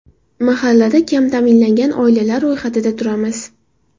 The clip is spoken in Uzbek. Mahallada kam ta’minlangan oilalar ro‘yxatida turamiz.